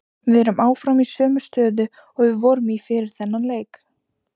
Við erum áfram í sömu stöðu og við vorum í fyrir þennan leik.